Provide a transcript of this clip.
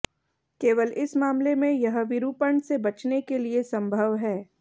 केवल इस मामले में यह विरूपण से बचने के लिए संभव है